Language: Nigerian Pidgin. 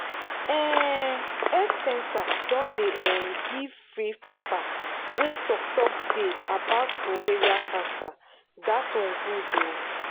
um health centre don dey um give free paper wey talk talk dey about ovarian cancer that one good ooo